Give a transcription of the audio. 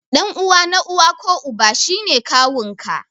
Ɗan uwa na uwa ko Uba shi ne kawun ka.